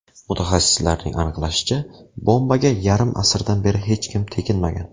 Mutaxassislarning aniqlashicha, bombaga yarim asrdan beri hech kim teginmagan.